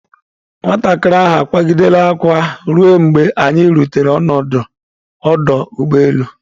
Nwatakịrị ahụ akwaa gidere akwa ruo mgbe anyi rutere n'ọdụ ụgbọ elu.